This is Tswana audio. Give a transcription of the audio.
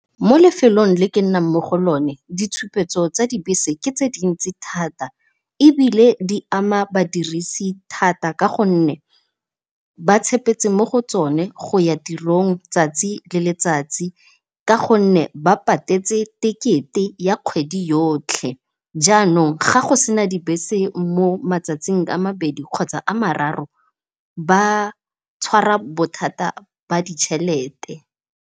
Mo lefelong le ke nnang mo go lone ditshupetso tsa dibese ke tse dintsi thata ebile di ama badirisi thata ka gonne ba tshepetse mo go tsone go ya tirong tsatsi le letsatsi ka gonne ba patetse ticket-e ya kgwedi yotlhe. Jaanong ga go sena dibese mo matsatsing a mabedi kgotsa a mararo ba tshwara bothata ba ditšhelete.